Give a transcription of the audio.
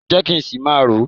Jẹ́ kí n ṣì máa rò ó